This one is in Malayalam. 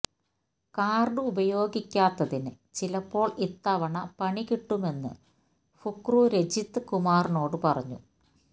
കാർഡ് ഉപയോഗിക്കാത്തതിന് ചിലപ്പോൾ ഇത്തവണ പണികിട്ടുമെന്ന് ഫുക്രു രജിത് കുമാറിനോട് പറഞ്ഞു